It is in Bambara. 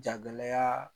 Jagɛlɛya